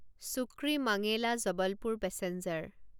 চুক্ৰীমাঙেলা Jabalpur passenger